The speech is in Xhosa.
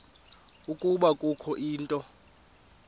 ukuba kukho into